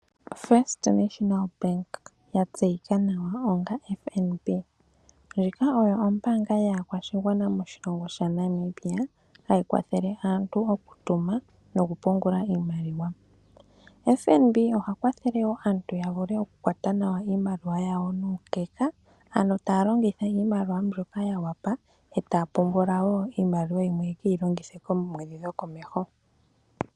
First Nationa Bank yatseyika nawa onga FNB ndjika oyo ombaanga yaakwashigwana moshilongo shaNamibia hayi kwathele aantu okutuma noku pungula iimaliwa. FNB oha kwathele woo aantu yavule okukwata nawa iimaliwa yawo nuukeka, ano taa longitha iimaliwa mbyoka yawapa etaa pungula woo iimaliwa yimwe yekeyi longitha koomwedhi dhokomeho.